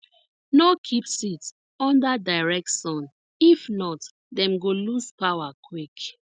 no keep seeds under direct sun if not dem go lose power quick